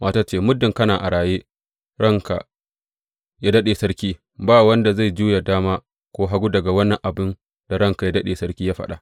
Matar ta ce, Muddin kana a raye, ranka yă daɗe sarki, ba wanda zai juya dama ko hagu daga wani abin da ranka yă daɗe sarki ya faɗa.